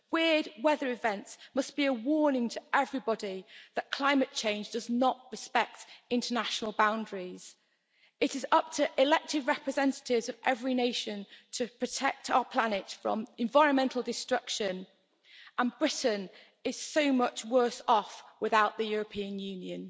Weird weather events must be a warning to everybody that climate change does not respect international boundaries. It is up to the elected representatives of every nation to protect our planet from environmental destruction, and Britain is so much worse off without the European Union.